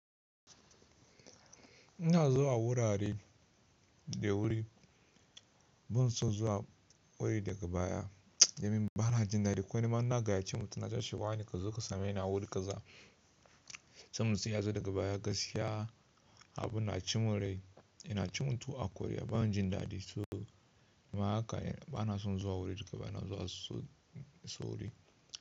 Ina zuwa wurare da wuri, ban son zuwa wuri daga baya. Domin ba na jin daɗi. Ko nima in na gayyace mutum nace mishi "wane kazo ka same ni a wuri ƙaza". Sannan sai ya zo daga baya gaskiya, abin na ci mun rai. Yana ci mun tuwo a kwarya, bana jin daɗi. So nima haka bana son zuwa wuri daga baya, na zuwa so wuri.